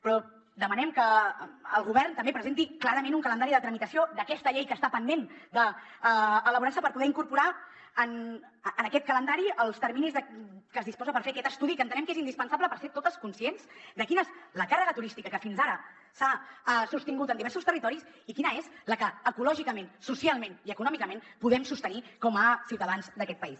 però demanem que el govern també presenti clarament un calendari de tramitació d’aquesta llei que està pendent d’elaborar se per poder incorporar en aquest calendari els terminis de què es disposa per fer aquest estudi que entenem que és indispensable per ser totes conscients de quina és la càrrega turística que fins ara s’ha sostingut en diversos territoris i quina és la que ecològicament socialment i econòmicament podem sostenir com a ciutadans d’aquest país